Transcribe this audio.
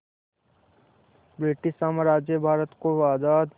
British साम्राज्य भारत को आज़ाद